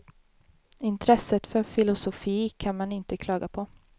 Intresset för filosofi kan man inte klaga på.